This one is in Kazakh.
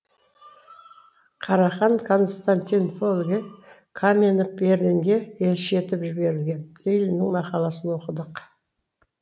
карахан константинопольге каменев берлинге елші етіп жіберілген лениннің мақаласын оқыдық